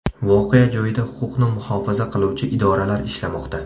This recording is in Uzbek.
Voqea joyida huquqni muhofaza qiluvchi idoralar ishlamoqda.